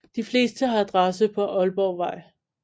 De fleste har adresse på Ålborgvej